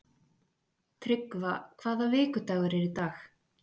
Tryggva, hvaða vikudagur er í dag?